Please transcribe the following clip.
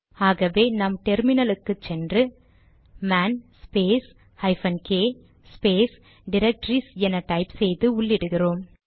ஆகவே நாம் டெர்மினலுக்கு போய் man space hyphen k space directories என டைப் செய்து உள்ளிடுகிறோம்